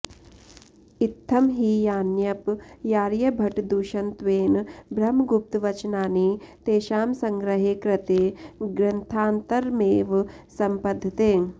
इत्थं हि यान्यप्यार्यभटदूषणत्वेन ब्रह्मगुप्तवचनानि तेषां सङ्ग्रहे कृते ग्रन्थान्तरमेव सम्पद्यते